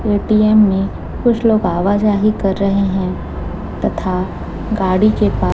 ATM में कुछ लोग आवा जाहि कर रहे हैं तथा गाड़ी के पा--